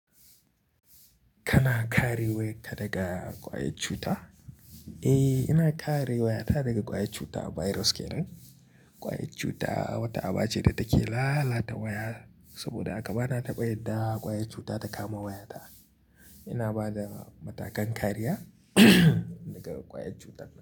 Kana kare wayarka daga ƙwayar cuta? Eh, ina kare wayata daga ƙwayar cuta. Virus kenan. Ƙwayar cuta wata aba ce da take lalata waya, saboda haka bana taɓa yadda ƙwayar cuta ta kama wayata. Ina ba da matakan kariya daga ƙwayar cutar.